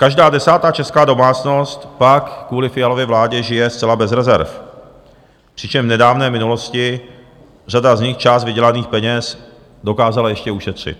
Každá desátá česká domácnost pak kvůli Fialově vládě žije zcela bez rezerv, přičemž v nedávné minulosti řada z nich část vydělaných peněz dokázala ještě ušetřit.